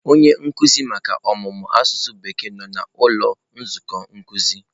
Onye nkuzi maka ọmụmụ asụsụ bekee nọ na ụlọ nzukọ nkuzi.